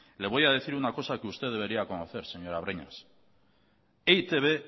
le voy a decir una cosa que usted debería conocer señora breñas e i te be